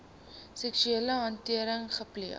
seksuele handeling gepleeg